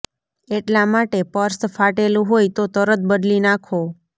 એટલા માટે પર્સ ફાટેલું હોય તો તરત બદલી નાંખો